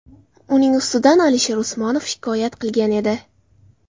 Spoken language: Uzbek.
Uning ustidan Alisher Usmonov shikoyat qilgan edi.